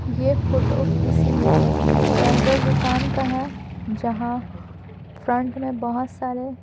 यह फोटो किसी जनरल दुकान का है जहाँ फ्रंट में बहुत सारे--